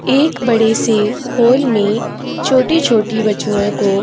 एक बड़े से हॉल में छोटी-छोटी बच्चियों--